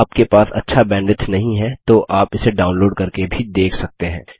यदि आपके पास अच्छा बैंडविड्थ नहीं है तो आप इसे डाउनलोड़ करके भी देख सकते हैं